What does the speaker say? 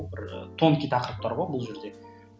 бір тонкий тақырыптар ғой бұл жерде